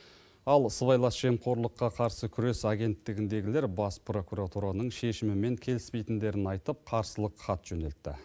ал сыбайлас жемқорлыққа қарсы күрес агенттігіндегілер бас прокуратураның шешімімен келіспейтіндерін айтып қарсылық хат жөнелтті